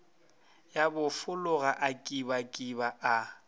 ya bofologa a kibakiba a